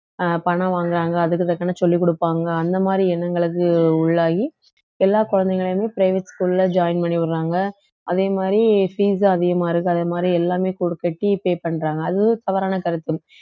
அஹ் பணம் வாங்குறாங்க அதுக்கு தக்கன சொல்லிக் கொடுப்பாங்க அந்த மாதிரி எண்ணங்களுக்கு உள்ளாகி எல்லா குழந்தைகளையுமே private school ல join பண்ணி விடுறாங்க அதே மாதிரி fees உம் அதிகமா இருக்கு அதே மாதிரி எல்லாமே pay பண்றாங்க அதுவும் தவறான கருத்து